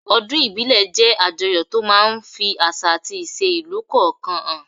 Ọdún ìbílẹ̀ jẹ́ àjọyọ̀ tó máa ń ń fi àṣà àti ìṣe ìlú kọ̀ọ̀kan hàn